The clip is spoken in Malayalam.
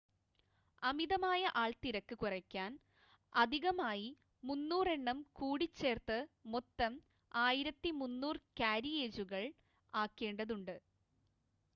അമിതമായ ആൾത്തിരക്ക് കുറയ്ക്കാൻ അധികമായി 300 എണ്ണം കൂടി ചേർത്ത് മൊത്തം 1,300 കാരിയേജുകൾ ആക്കേണ്ടതുണ്ട്